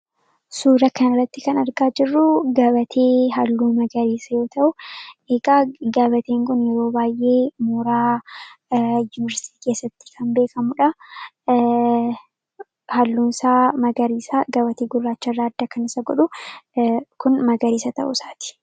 Suura kana irratti kan argaa jirru gabatee halluu magariisa yoota'u; Egaa gabateen kun yeroo baay'ee mooraa yuunivarsiitii keessatti kan beekamudha. Halluun isaa magariisa. Gabatee Gurraacharraa adda kan isa godhu kun Magariisa ta'uu isaati.